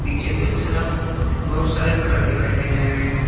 पीछे की तरफ बहुत सारे घर दिखाई दे रहे हैं।